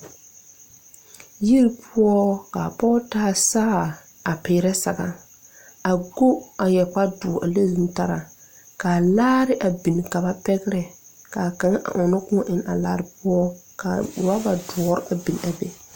Yiri poɔ kaa pɔge taa saare a peerɛ saga a go a yɛre kparedoɔre leŋ zutaraa ka laare a bin ka ba pɛgrɛ kaa kaŋa ɔŋnɔ kõɔ eŋnɛ a laare poɔ kaa rɔba doɔre a bin a be.